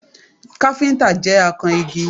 Káfíntà jẹ́ akan igi